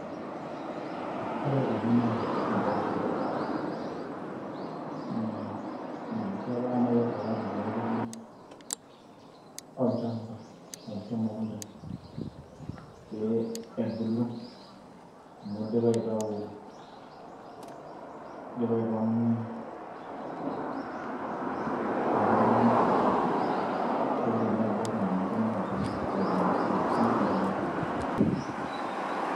Ore ena naa impooshok na ketaa nai tayari pepiki olchamba arashu emukunta, pe ebulu amu idipa atau, idipa aipang'unye kuna tokiting' naibor na ninche nabulu aibung' enkop arashu neilep enkae.